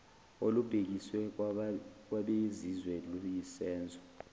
olubhekiswe kwabezizwe luyisenzo